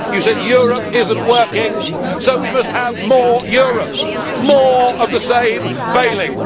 You said Europe is not working so we must have more Europe more of the same failing.